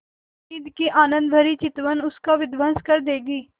हामिद की आनंदभरी चितवन उसका विध्वंस कर देगी